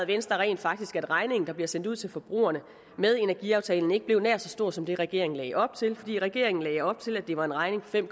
venstre rent faktisk at regningen der bliver sendt ud til forbrugerne med energiaftalen ikke er blevet nær så stor som det regeringen lagde op til regeringen lagde op til at det var en regning på fem